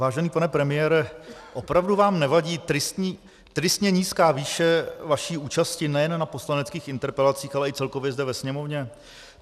Vážený pane premiére, opravdu vám nevadí tristně nízká výše vaší účasti nejen na poslaneckých interpelacích, ale i celkově zde ve Sněmovně?